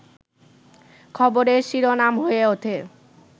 খবরের শিরোনাম হয়ে ওঠে